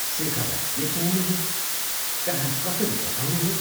शेखरलाई के खुवाउने हो?.कहाँ कसरी बसाउने हो?